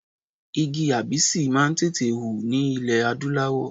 Igi abisi máa ń tètè hù ní ilẹ̀ adúláwọ̀.